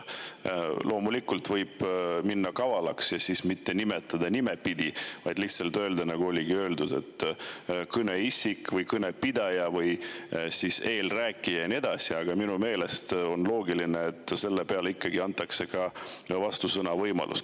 Loomulikult võib olla kaval ja nimepidi mitte nimetada, vaid öelda lihtsalt "kõneisik" või "kõnepidaja" või "eelrääkija" ja nii edasi, aga minu meelest on loogiline, et ka sel juhul antakse võimalus vastusõnavõtuks.